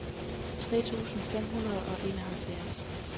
tres tusind fem hundrede og enoghalvfjerds